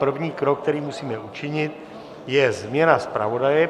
První krok, který musíme učinit, je změna zpravodaje.